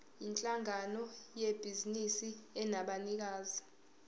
yinhlangano yebhizinisi enabanikazi